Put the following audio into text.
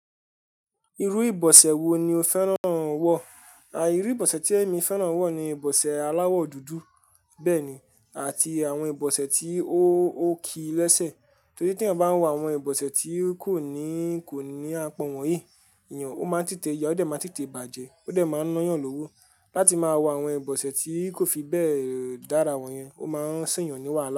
Irú ìbọ̀sẹ̀ wo ni o fẹ́ràn wọ̀? Àì, irú ìbọ̀sẹ̀ tí èmi fẹ́ràn wọ̀ ni ìbọ̀sẹ̀ aláwọ̀ dúdú bẹ́ẹ̀ ni, àti àwọn ìbọ̀sẹ̀ tí ó ó ki lẹ́sẹ̀. Torí tí ẹ̀yàn bá ń wọ àwọn ìbọ̀sẹ̀ tí kò ní, kò ní àpọ̀n wọ́n èyí, ìyin, ó má ń títẹ yà, ó dẹ̀ má ń títẹ bàjẹ́, ó dẹ̀ máa ń eeyan lówó. Láti máa wọ àwọn ìbọ̀sẹ̀ tí kò fi bẹ́ẹ̀ dára wọ̀nyẹn, ó má ń sẹ̀yàn níwà lánàá.